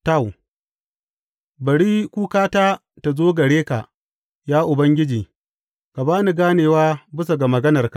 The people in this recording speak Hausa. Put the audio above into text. Taw Bari kukata ta zo gare ka, ya Ubangiji; ka ba ni ganewa bisa ga maganarka.